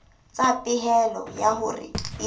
tlasa pehelo ya hore e